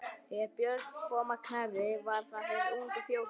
Þegar Björn kom að Knerri var þar fyrir ungur fjósamaður.